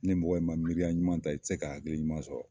Ni mɔgɔ in ma miiriya ɲuman ta, i te ka hakili ɲuman sɔrɔ